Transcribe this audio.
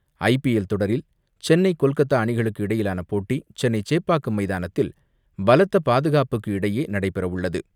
ஐ P L தொடரில் சென்னை கொல்கத்தா அணிகளுக்கு இடையிலான போட்டி சென்னை சேப்பாக்கம் மைதானத்தில் பலத்த பாதுகாப்புக்கு இடையே நடைபெறவுள்ளது.